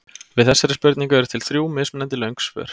Við þessari spurningu eru til þrjú mismunandi löng svör.